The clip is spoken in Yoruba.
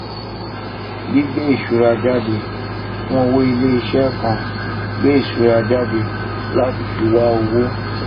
gbígbé ìṣura jáde fún owó iléiṣẹ kan gbé ìṣura jáde láti fi wa owó